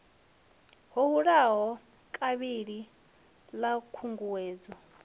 ḓo hulaho kavhili ḽa khunguwedzo